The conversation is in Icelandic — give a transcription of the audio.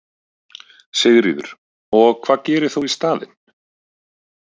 Sigríður: Og hvað gerir þú í staðinn?